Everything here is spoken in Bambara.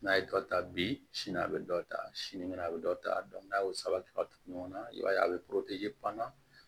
N'a ye dɔ ta bi sini a be dɔ ta sini kɛnɛ a bɛ dɔ ta n'a y'o sabati ka tugu ɲɔgɔnna i b'a ye a bɛ banna